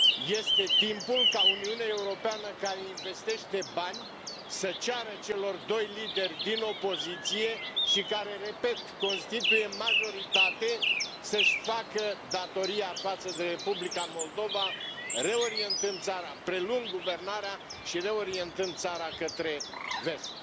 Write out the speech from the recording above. Este timpul ca Uniunea Europeană, care investește bani, să ceară celor doi lideri din opoziție și care, repet, constituie majoritate, să și facă datoria față de Republica Moldova, reorientând țara, preluând guvernarea și reorientând țara către vest.